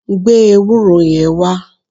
Gbe ewúro yẹn wá!